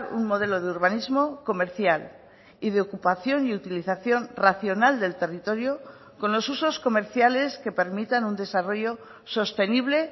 un modelo de urbanismo comercial y de ocupación y utilización racional del territorio con los usos comerciales que permitan un desarrollo sostenible